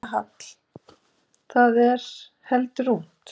Silvía Hall: Það er heldur ungt?